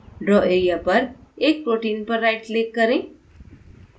draw area पर एक protein पर right click करें